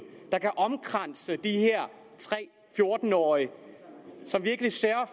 der kan omkranse de her tre fjorten årige som virkelig sørger